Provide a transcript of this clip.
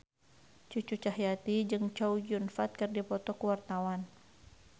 Cucu Cahyati jeung Chow Yun Fat keur dipoto ku wartawan